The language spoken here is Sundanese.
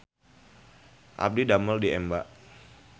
Abdi didamel di Emba